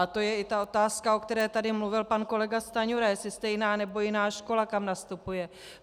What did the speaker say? A to je i ta otázka, o které tady mluvil pan kolega Stanjura, jestli stejná, nebo jiná škola, kam nastupuje.